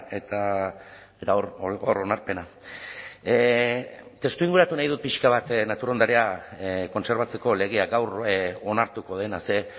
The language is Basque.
eta hor onarpena testuinguratu nahi dut pixka bat natur ondarea kontserbatzeko legea gaur onartuko dena ze